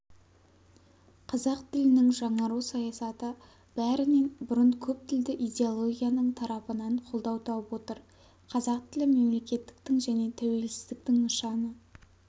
қазақ тілінің жаңару саясаты бәрінен бұрын көп тілді идеологияның тарапынан қолдау тауып отыр қазақ тілі мемлекеттіктің және тәуелсіздіктің нышаны